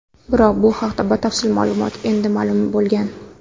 Biroq u haqda batafsil ma’lumot endi ma’lum bo‘lgan.